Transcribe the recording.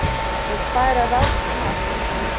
Vill færa rástíma aftar